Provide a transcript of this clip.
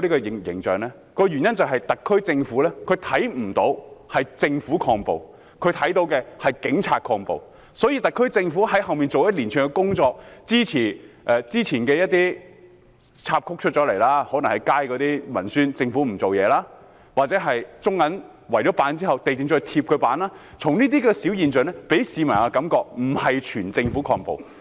原因是他們看不到政府抗暴，他們看到的是警察抗暴，所以特區政府在背後所做的一連串工作，之前出現的一些插曲，可能是街上的文宣，指政府無所作為，又或是中國銀行以木板圍封後被地政總署要求拆除，這些現象均令市民覺得並非整個政府在抗暴。